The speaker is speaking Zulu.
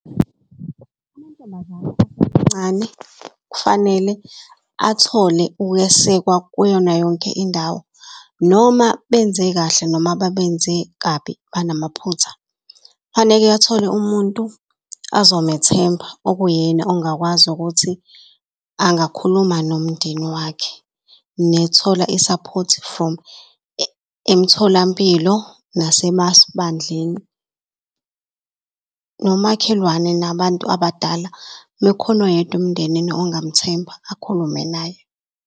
Amantombazane asemancane kufanele athole ukwesekwa kuyona yonke indawo noma benze kahle noma babenze kabi banamaphutha. Kufaneke athole umuntu azomethemba okuyena ongakwazi ukuthi angakhuluma nomndeni wakhe. isaphothi from emtholampilo, nasemabandleni, nomakhelwane nabantu abadala. Mekhona oyedwa emndenini ongamthemba akhulume naye.